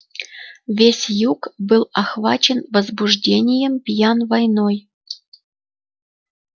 весь юг был охвачен возбуждением пьян войной